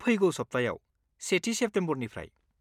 फैगौ सब्थायाव, सेथि सेप्टम्बरनिफ्राय।